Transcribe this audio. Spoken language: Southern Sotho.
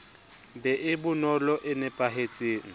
be e bonolo e napahetseng